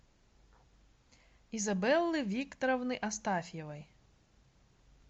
изабеллы викторовны астафьевой